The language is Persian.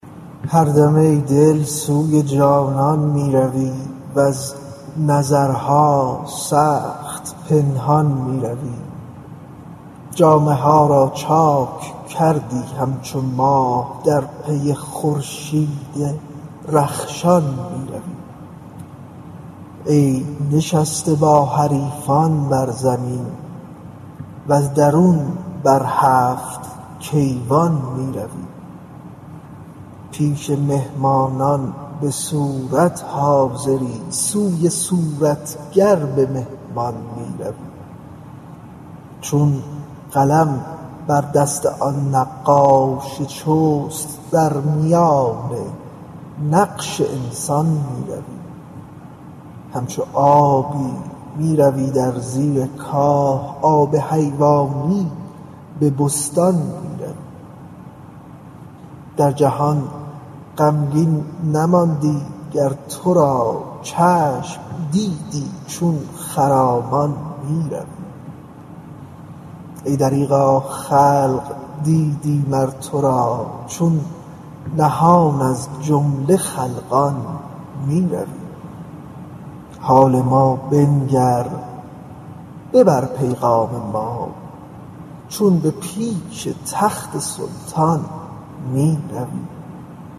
هر دم ای دل سوی جانان می روی وز نظرها سخت پنهان می روی جامه ها را چاک کردی همچو ماه در پی خورشید رخشان می روی ای نشسته با حریفان بر زمین وز درون بر هفت کیوان می روی پیش مهمانان به صورت حاضری سوی صورتگر به مهمان می روی چون قلم بر دست آن نقاش چست در میان نقش انسان می روی همچو آبی می روی در زیر کاه آب حیوانی به بستان می روی در جهان غمگین نماندی گر تو را چشم دیدی چون خرامان می روی ای دریغا خلق دیدی مر تو را چون نهان از جمله خلقان می روی حال ما بنگر ببر پیغام ما چون به پیش تخت سلطان می روی